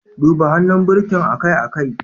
Duba hannun birkin akai-akai.